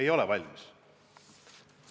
Ei ole valmis.